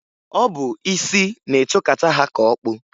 Ọ bụ isi na-etokata ha ka okpu.